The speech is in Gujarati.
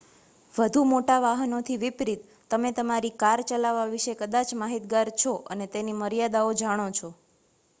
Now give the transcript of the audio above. વધુ મોટા વાહનોથી વિપરીત તમે તમારી કાર ચલાવવા વિશે કદાચ માહિતગાર છો અને તેની મર્યાદાઓ જાણો છો